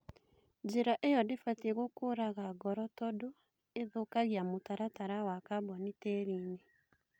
Njĩra ĩyo ndĩbatie gũkũraga ngoro tondũ ĩthũkagia mũtaratara wa kaboni tĩriinĩ